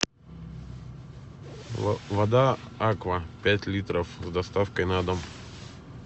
вода аква пять литров с доставкой на дом